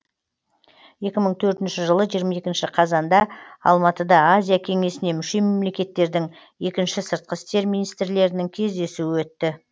екі мың төртінші жылы жиырма екінші қазанда алматыда азия кеңесіне мүше мемлекеттердің екінші сыртқы істер министрлерінің кездесуі өтті